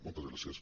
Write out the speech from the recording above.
moltes gràcies